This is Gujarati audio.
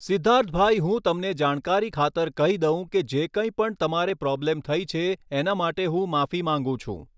સિદ્ધાર્થ ભાઈ હું તમને જાણકારી ખાતર કહી દઉં કે જે કંઈ પણ તમારે પ્રોબ્લમ થઈ છે એના માટે હું માફી માગું છું